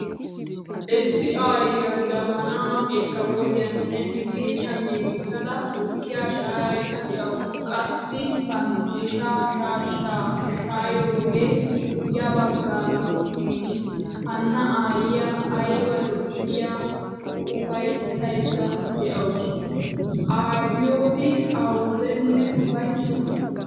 Issi aayiyaa jabaana, irkkabotiyan siiniyaa giigisada tukkiya shayayida deawusu. Qassi pandiishsha shaashaa shayoge ya baggaara uttiis. Hana aayiyaa ayba lo'ay uffayttayda deawusu. Aayotti awudene ufayttona.